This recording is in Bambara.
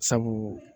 Sabu